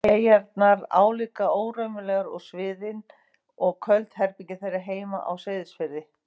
eyjarnar álíka óraunverulegar og sviðin og köld herbergin þeirra heima á Seyðisfirði.